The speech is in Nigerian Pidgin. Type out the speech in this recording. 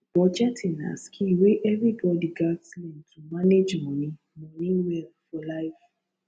budgeting na skill wey everybody gats learn to manage money money well for life